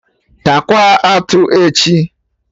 Taakwa atụ echi!